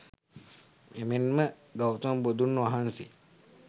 එමෙන්ම ගෞතම බුදුන් වහන්සේ,